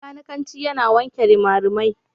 Mai kanikanci yana wanke rimarimai.